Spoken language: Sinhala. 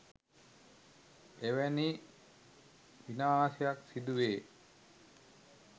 එවැනි විනාශයක් සිදුවේ